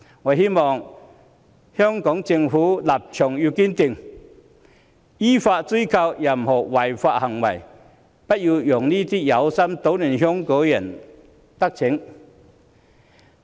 我希望香港政府立場堅定，依法追究違法行為，不要讓這些有心搗亂香港的人得逞。